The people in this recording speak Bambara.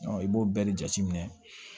i b'o bɛɛ de jateminɛ